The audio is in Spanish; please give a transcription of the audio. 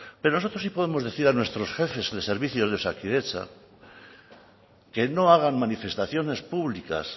pero nosotros sí podemos decir a nuestros jefes de servicios de osakidetza que no hagan manifestaciones públicas